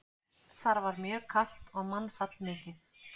Þar var mjög kalt og mannfall mikið.